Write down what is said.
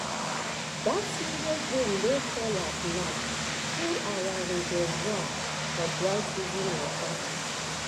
that serious rain wey fall last night full our reservoir for dry season water.